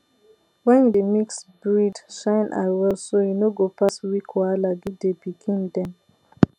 when you dey mix breed shine eye well so you no go pass weak wahala give the pikin dem